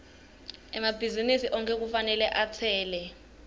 emabhizinisi onkhe kufanele atsele